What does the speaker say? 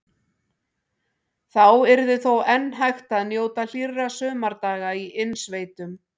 Þá yrði þó enn hægt að njóta hlýrra sumardaga í innsveitum.